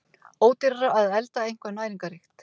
Ódýrara að elda eitthvað næringarríkt!